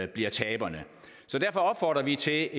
bliver taberne derfor opfordrer vi til